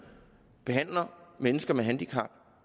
behandler mennesker med handicap